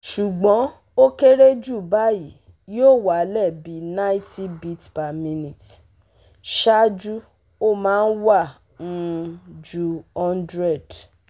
Sugbon o kere ju bayi yoo walẹ bi ninety bpm, ṣaaju o ma n wa um ju one hundred